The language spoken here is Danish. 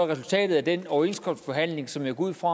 resultatet af den overenskomstforhandling som jeg går ud fra